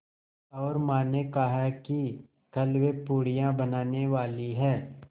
और माँ ने कहा है कि कल वे पूड़ियाँ बनाने वाली हैं